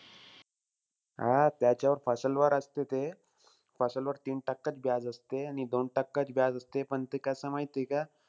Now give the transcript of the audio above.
हां त्याच्यावर वर असतं ते. वर तीन टक्काचं असते. आणि दोन टक्काचं असते. पण, ते कसंय माहिती का,